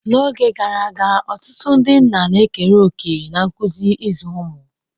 N'oge gara aga, ọtụtụ ndị nna ekere òkè na nkuzi ịzụ ụmụ.